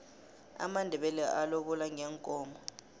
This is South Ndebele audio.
amandebele alobola ngeenkomo